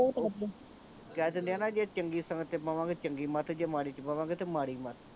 ਕਹਿ ਚਲਿਆ ਨਾ ਜੇ ਚੰਗੀ ਸੰਗਤ ਚ ਪਵਾਂਗੇ ਤੇ ਚੰਗੀ ਮੱਤ ਜੇ ਮਾੜੀ ਚ ਪਵਾਂਗੇ ਤੇ ਮਾੜੀ ਮੱਤ